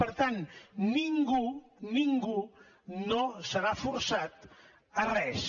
per tant ningú ningú no serà forçat a res